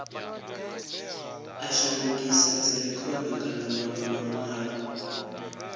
a shandukisa dzirekhodo kana manwe manwalo